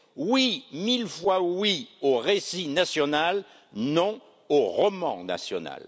Oui, mille fois oui au récit national, non au roman national.